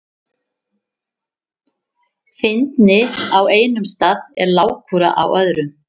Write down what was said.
Fyndni á einum stað er lágkúra á öðrum.